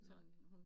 Nej